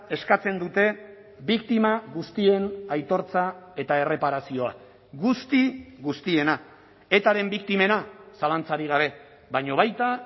eskatzen dute biktima guztien aitortza eta erreparazioa guzti guztiena etaren biktimena zalantzarik gabe baina baita